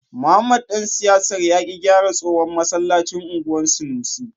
Mohammed dan siyasar ya ki gyara tsohon masallacin anguwan sanusi.